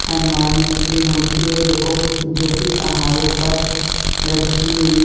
हनुमान जी की मूर्ति है जो को जो कि पहाड़ों पर रखी हुई हैं।